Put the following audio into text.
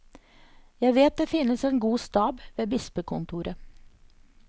Jeg vet det finnes en god stab ved bispekontoret.